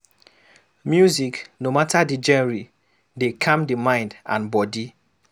Music, no matter di genre dey calm di mind and body